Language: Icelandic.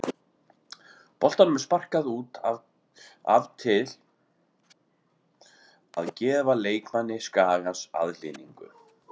Boltanum er sparkað út af til að gefa leikmanni Skagans aðhlynningu.